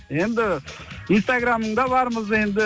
енді инстаграмыңда бармыз енді